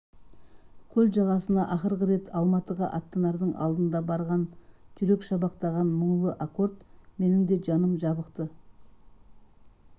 көл жағасына ақырғы рет алматыға аттанардың алдында барған жүрек шабақтаған мұңлы аккорд менің де жаным жабықты